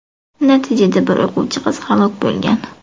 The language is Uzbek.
Natijada bir o‘quvchi qiz halok bo‘lgan.